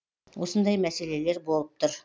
осындай мәселелер болып тұр